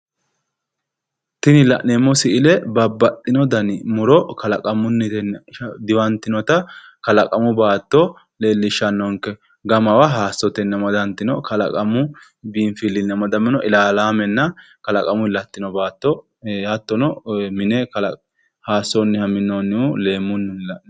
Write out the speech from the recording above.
Tinni la'neemo misille babaxino danni muro kallaqamunni diwantinotta kallaqamu baatto leelishanonke gammawa hayissotenni amadantino kallaqamu binfilinni amaddamino illallaamenna kallaqamuyi latino baatto hattono mine hayissanniha minoonni leemunnihu leellanno.